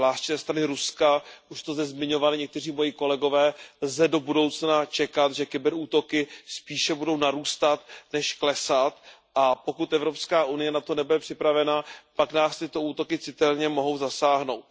Zvláště ze strany Ruska, již to zde zmiňovali někteří moji kolegové, lze do budoucna čekat, že kyber útoky spíše budou narůstat než klesat, a pokud EU na to nebude připravená, pak nás tyto útoky citelně mohou zasáhnout.